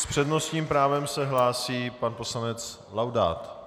S přednostním právem se hlásí pan poslanec Laudát.